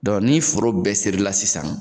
Dɔnku ni foro bɛɛ seri la sisan